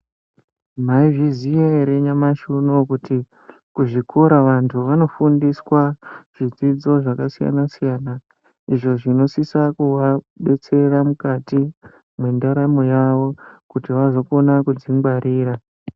Maizviziya ere nyamashi unowu kuti kuzvikora vantu vanofundiswa zvidzidzo zvakasiyana siyana izvo zvinositse kuvabatsira mukati mendaramo yavo kuti vazokona kudzingwarira.